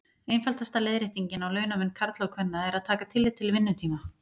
Einfaldasta leiðréttingin á launamun karla og kvenna er að taka tillit til vinnutíma.